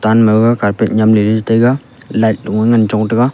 tan ma gag carpet nyem ley lai taiga light loye ngan hong tega.